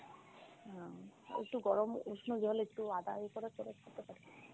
উম একটু গরম উষ্ণ জলে একটু আদা খেতে পারো।